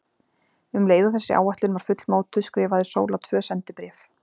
Um leið og þessi áætlun var fullmótuð skrifaði Sóla tvö sendibréf.